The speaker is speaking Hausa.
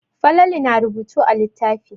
Falalu na rubutu a littafi.